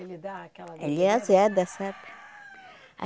Ele dá aquela... Ele azeda, sabe?